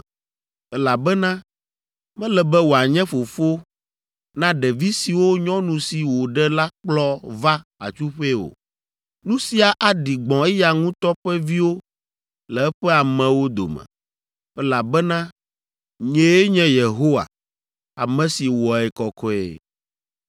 elabena mele be wòanye fofo na ɖevi siwo nyɔnu si wòɖe la kplɔ va atsuƒee o; nu sia aɖi gbɔ̃ eya ŋutɔ ƒe viwo le eƒe amewo dome, elabena nyee nye Yehowa, ame si wɔe kɔkɔe.’ ”